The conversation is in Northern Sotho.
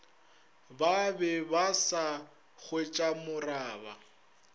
ba be ba sa hwetšamoraba